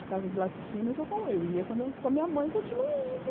A casa de laticínios, eu com eu ia com a minha mãe e continuo indo.